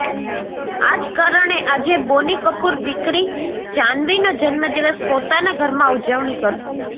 આ જ કારણે આજે બોની કપૂર દીકરી જાહ્નવીનો જન્મદિવસ પોતાના ઘરમાં ઉજવણી કરશે